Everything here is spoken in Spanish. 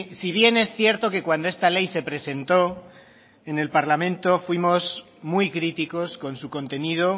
si bien es cierto que cuando esta ley se presentó en el parlamento fuimos muy críticos con su contenido